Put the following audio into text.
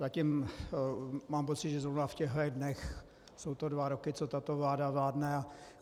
Zatím mám pocit, že zrovna v těchto dnech jsou to dva roky, co tato vláda vládne.